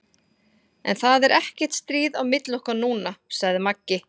En það er ekkert stríð á milli okkar núna, sagði Maggi.